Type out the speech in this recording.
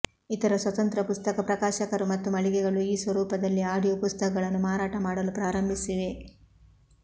ಇತರ ಸ್ವತಂತ್ರ ಪುಸ್ತಕ ಪ್ರಕಾಶಕರು ಮತ್ತು ಮಳಿಗೆಗಳು ಈ ಸ್ವರೂಪದಲ್ಲಿ ಆಡಿಯೋ ಪುಸ್ತಕಗಳನ್ನು ಮಾರಾಟ ಮಾಡಲು ಪ್ರಾರಂಭಿಸಿವೆ